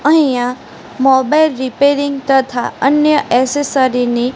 અહીંયા mobile repairing તથા અન્ય એસેસરી ની --